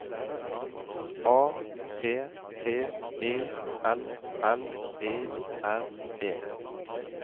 A P P E L L E R E